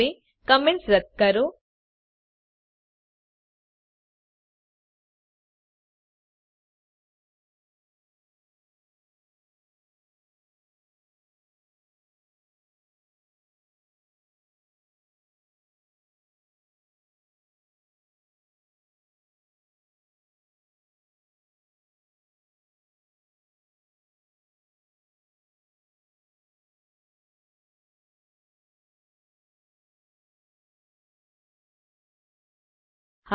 હવે કમેન્ટ્સ રદ્દ કરો